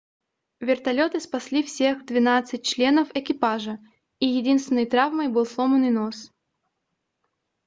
вертолёты спасли всех двенадцать членов экипажа и единственной травмой был сломанный нос